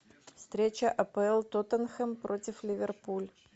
встреча апл тоттенхэм против ливерпуль